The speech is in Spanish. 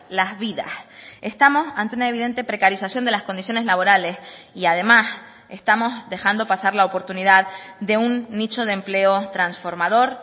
las vidas estamos ante una evidente precarización de las condiciones laborales y además estamos dejando pasar la oportunidad de un nicho de empleo transformador